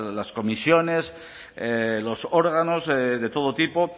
las comisiones los órganos de todo tipo